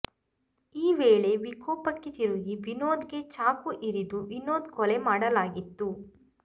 ಈ ವೇಳೆ ವಿಕೋಪಕ್ಕೆ ತಿರುಗಿ ವಿನೋದ್ ಗೆ ಚಾಕು ಇರಿದು ವಿನೋದ್ ಕೊಲೆ ಮಾಡಲಾಗಿತ್ತು